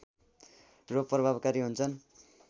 र प्रभावकारी हुन्छन्